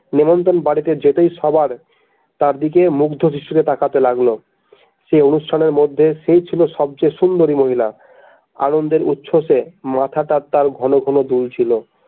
নেমন্ত্রন বাড়িতে যেতেই সবার তাঁর দিকে মুগ্ধ দৃষ্টিতে তাকাতে লাগলো সেই অনুষ্ঠানের মধ্যে সেই ছিল সবচেয়ে সুন্দরী মহিলা আনন্দের উচ্ছসে মাথাটা তার ঘনঘন দুলছিল।